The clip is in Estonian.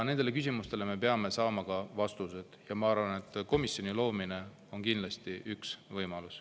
Nendele küsimustele me peame saama vastused ja ma arvan, et komisjoni loomine on kindlasti üks võimalus.